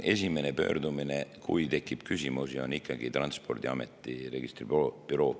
Esimene pöördumine, kui tekib küsimusi, on ikkagi Transpordiameti registribüroo poole.